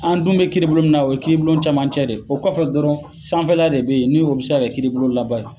An dun be kiiribulon mun na , o ye kiiribulon camancɛ de ye. O kɔfɛ dɔrɔn sanfɛla de be yen , ni o be se ka kɛ kiiribulon laban ye.